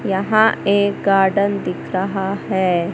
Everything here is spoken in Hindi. यहां एक गार्डन दिख रहा है।